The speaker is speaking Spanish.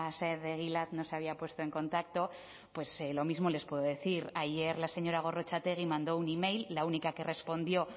saez de egilaz no se había puesto en contacto pues lo mismo les puedo decir ayer la señora gorrotxategi mandó un email la única que respondió